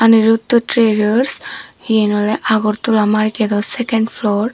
aniruddu trarers iyen awley agortola markedow seken flor.